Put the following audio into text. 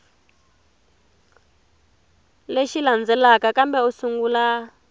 lexi landzelaka kambe u sungula